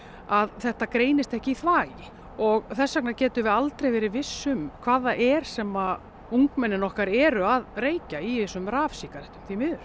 að þetta greinist ekki í þvagi og þess vegna getum við aldrei verið viss um hvað það er sem ungmennin okkar eru að reykja í þessum rafsígarettum